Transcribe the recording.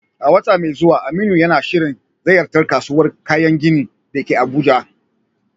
A wata mai zuwa, Aminu yana shirin ziyartar kasuwar kayan gini da ke Abuja.